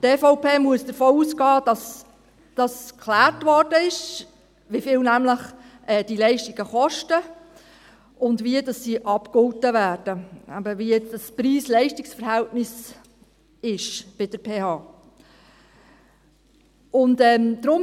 Die EVP muss davon ausgehen, dass dies geklärt wurde, also wie viel diese Leistungen kosten, wie sie abgegolten werden und wie das Preis-Leistungs-Verhältnis bei der PH ist.